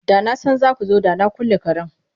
Da na san za ku zo da na kulle karen.